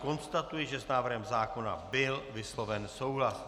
Konstatuji, že s návrhem zákona byl vysloven souhlas.